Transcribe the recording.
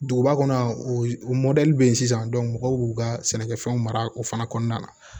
Duguba kɔnɔ yan o mɔdɛli bɛ ye sisan mɔgɔw b'u ka sɛnɛkɛfɛnw mara o fana kɔnɔna na